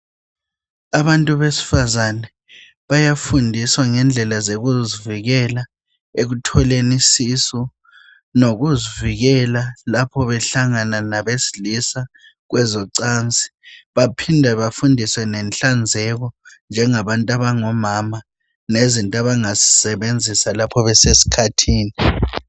abantu besifazana bayafundiswa ngendlela zokuzivikela ekutholeni isisu lokuzivikela lapha behlangana labesilisa kwezocansi baphinda befundiswe ngenhlanzeko njengabantu abangomama lezinto abazazi sebenzisa lapho besesikhathini